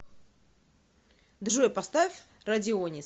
джой поставь радионис